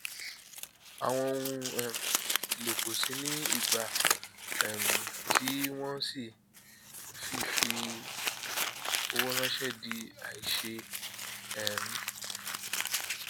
àwọn ohun um èlò kò ṣìí ní ìgbà um tí wọn ṣii fífi owó ránṣẹ di àìṣeé um